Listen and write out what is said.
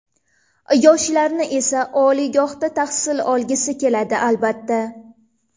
Yoshlarni esa, oliygohda tahsil olgisi keladi, albatta.